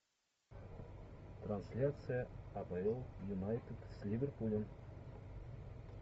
трансляция апл юнайтед с ливерпулем